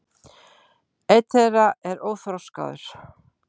einn þeirra er óþroskaður